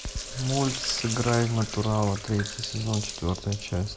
мульт сыграй в натурала третий сезон четвертая часть